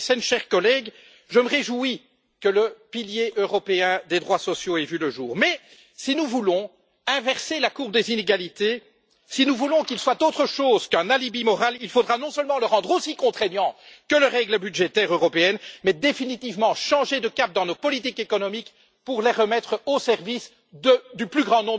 Madame Thyssen, chers collègues, je me réjouis que le pilier européen des droits sociaux ait vu le jour. Cependant, si nous voulons inverser la courbe des inégalités et que ce pilier soit autre chose qu'un alibi moral, il faudra non seulement le rendre aussi contraignant que les règles budgétaires européennes, mais définitivement changer de cap dans nos politiques économiques pour les remettre au service du plus grand nombre de nos concitoyens.